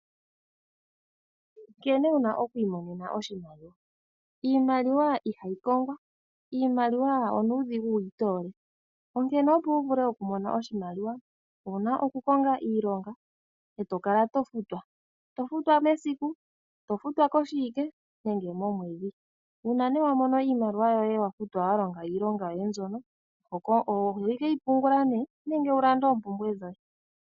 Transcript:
Nkene wu na oku imonena oshimaliwa, iimaliwa ihayi kongwa, iimaliwa onuudhigu wu yi toole onkene opo wu vule okumona oshimaliwa owuna oku konga iilonga eto kala to futwa, to futwa mesiku, to futwa koshiwike nenge momwedhi. Uuna nee wa mono iimaliwa yoye wa futwa wa longa iilonga yoye mbyono ohokeyi pungula nee nenge wu lande oompumbwe dhoye.